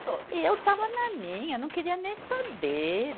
E eu estava na minha, não queria nem saber.